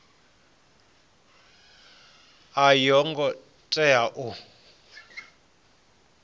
a yo ngo tea u